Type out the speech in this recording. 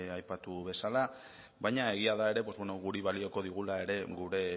aipatu bezala baina egia da ere guri balioko digula ere gure